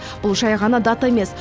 бұл жай ғана дата емес